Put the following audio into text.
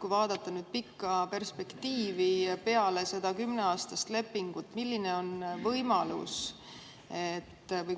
Kui vaadata pikka perspektiivi peale seda kümneaastast lepingut, milline on võimalus